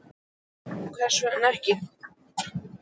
Þorbjörn: Hvers vegna ekki?